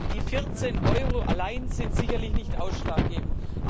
Die 14 Euro alleine sind sicherlich nicht ausschlaggebend.